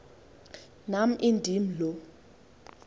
nam indim lo